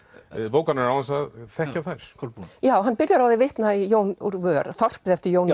bókarinnar án þess að þekkja þær Kolbrún hann byrjar á að vitna í Jón úr vör þorpið eftir Jón